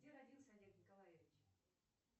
где родился олег николаевич